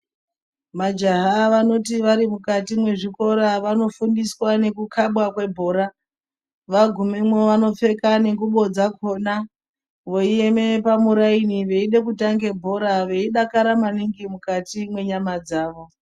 Majaha vanoti vari mukati mwe zvikora vanofundiswa neku kabwa kwe bhora vagumeyo vanopfeka nguvo dzakona vei eme pamuraini veide kutange bhora veidakara maningi mukati mwe nyama dzavo.